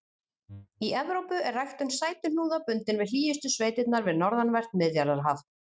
Í Evrópu er ræktun sætuhnúða bundin við hlýjustu sveitirnar við norðanvert Miðjarðarhaf.